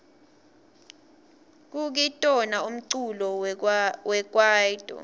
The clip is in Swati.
kukitona umculo wekwaito